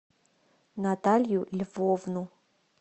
наталью львовну